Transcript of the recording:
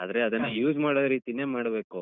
ಆದ್ರೆ ಅದನ್ನ use ಮಾಡೋ ರೀತಿನೆ ಮಾಡ್ಬೇಕು.